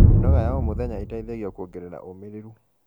mĩnoga ya o mũthenya itaithagia kuongerera umiriru